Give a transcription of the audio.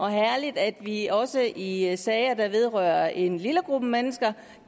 er herligt at vi også i sager der vedrører en lille gruppe mennesker